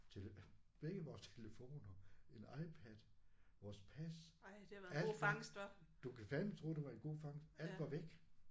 Tele begge vores telefoner en iPad vores pas alt var du kan fandeme tro det var en god fangst alt var væk